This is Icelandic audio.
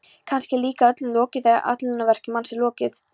Kannski er líka öllu lokið þegar ætlunarverki manns er lokið.